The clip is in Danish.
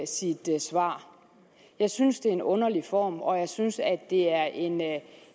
sit svar jeg synes det er en underlig form og jeg synes at det er en